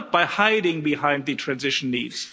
Not by hiding behind the transition needs.